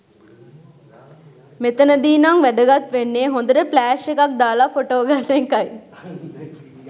මෙතනදී නං වැදගත් වෙන්නේ හොඳට ෆ්ලෑෂ් එකක් දාලා ෆොටෝ ගන්න එකයි.